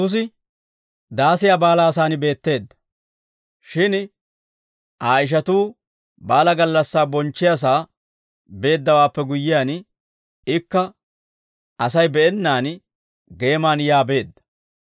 Shin Aa ishatuu baalaa gallassaa bonchchiyaasaa beeddawaappe guyyiyaan, ikka Asay be'ennaan geeman yaa beedda.